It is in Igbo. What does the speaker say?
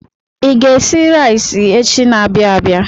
I ga-esi rais echi n'abia abịa.